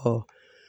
Ɔ